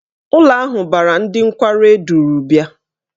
Ụlọ ahụ banyere ndị nkwarụ eduru bịa.